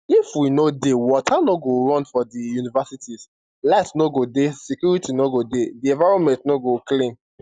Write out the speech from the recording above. if we no dey water no go run for di universities light no go dey security no go dey di environment no go clean